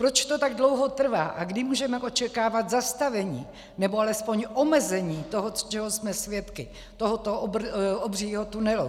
Proč to tak dlouho trvá a kdy můžeme očekávat zastavení, nebo alespoň omezení toho, čeho jsme svědky, tohoto obřího tunelu?